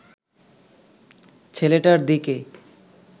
ছেলেটার দিকে